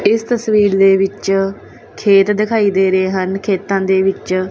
ਇਸ ਤਸਵੀਰ ਦੇ ਵਿੱਚ ਖੇਤ ਦਿਖਾਈ ਦੇ ਰਹੇ ਹਨ ਖੇਤਾਂ ਦੇ ਵਿੱਚ।